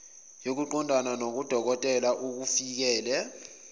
yokuqondana nodokotela okufikele